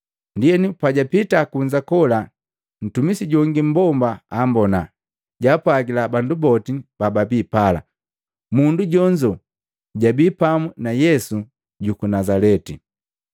Ndienu pajapita kunza, kola ntumisi jongi mmbomba ambona, jaapwagila bandu boti bababi pala, “Mundu jonzo jabii pamu na Yesu juku Nazaleti.”